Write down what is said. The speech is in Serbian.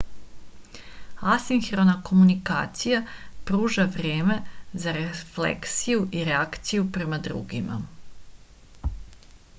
asinhrona komunikacija pruža vreme za refleksiju i reakciju prema drugima